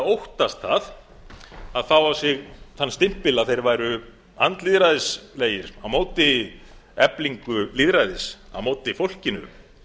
óttast að fá á sig þann stimpil að þeir væru andlýðræðislegir á móti eflingu lýðræðis á móti fólkinu